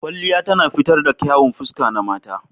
Kwalliya tana fitar da kyawun fuska na mata